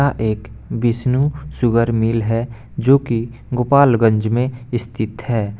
यहाँ एक Vishnu sugar mill है जो की गोपालगंज में स्थित है।